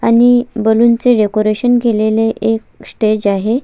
आणि बलून चे डेकोरेशन केलेले एक स्टेज आहे.